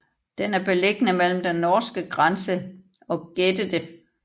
Den er beliggende mellem den norske grænse og Gäddede